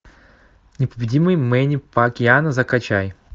непобедимый мэнни пакьяо закачай